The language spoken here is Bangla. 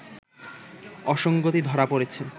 অসংগতি ধরা পড়েছে